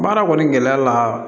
Baara kɔni gɛlɛya la